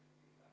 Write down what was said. Ei ole.